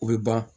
U bɛ ban